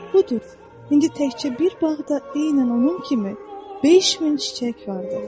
Budur, indi təkcə bir bağda eynən onun kimi 5 min çiçək vardır.